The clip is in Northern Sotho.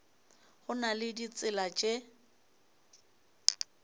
go na le ditsela tše